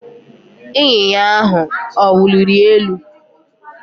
Ịnyịnya ahụ ọ wuliri elu?